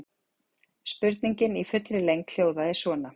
Spurningin í fullri lengd hljóðaði svona: